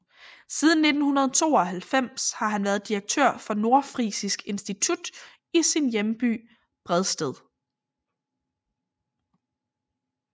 Siden 1992 har han været direktør for Nordfrisisk Institut i sin hjemby Bredsted